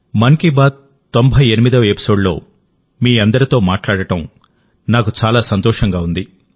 మన్ కీ బాత్ 98వ ఎపిసోడ్లో మీ అందరితో మాట్లాడడం నాకు చాలా సంతోషంగా ఉంది